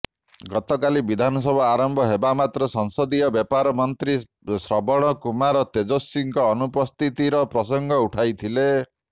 ଗତକାଲି ବିଧାନସଭା ଆରମ୍ଭ ହେବା ମାତ୍ରେ ସଂସଦୀୟ ବ୍ୟାପାର ମନ୍ତ୍ରୀ ଶ୍ରବଣ କୁମାର ତେଜସ୍ୱୀଙ୍କ ଅନୁପସ୍ଥିତିର ପ୍ରସଙ୍ଗ ଉଠାଇଥିଲେ